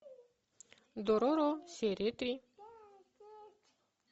дороро серия три